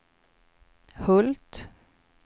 Hult